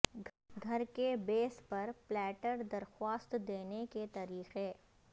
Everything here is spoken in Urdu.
گھر کے بیس پر پلیٹر درخواست دینے کے طریقے